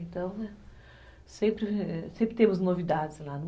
Então, né, sempre temos novidades lá.